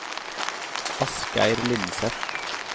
Asgeir Lindseth